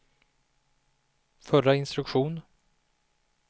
förra instruktion